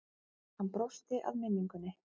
Hann brosti að minningunni.